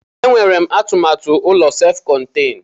E nwere m atụmatụ ụlọ sef konten.